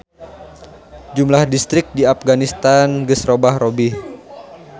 Jumlah distrik di Apganistan geus robah-robih.